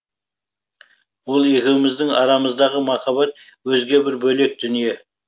ол екеуміздің арамыздағы махаббат өзге бір бөлек дүние